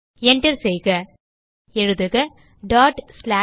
Enter செய்க எழுதுக switch1